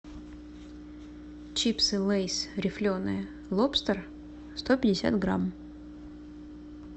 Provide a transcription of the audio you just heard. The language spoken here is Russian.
чипсы лейс рифленые лобстер сто пятьдесят грамм